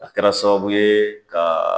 A kɛra sababu ye ka